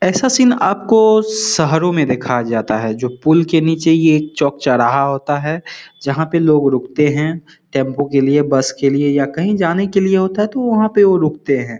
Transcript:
ये सीन आपको शहरो मे देखा जाता है जो पूल के नीचे ये चोक चोरहा होता है जहां पे लोग रुकते है टेंपू के लिए बस के लिए या काही जाने के लिए होता है तो वहां पे वो रुकते है।